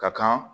Ka kan